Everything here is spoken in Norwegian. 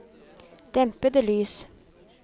dempede lys